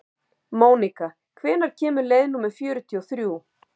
Mónika, hvenær kemur leið númer fjörutíu og þrjú?